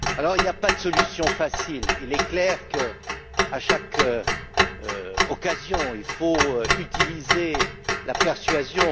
Il n'y a pas de solution facile. Il est clair que, à chaque occasion, il faut utiliser la persuasion.